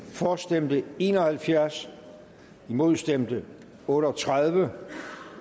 for stemte en og halvfjerds imod stemte otte og tredive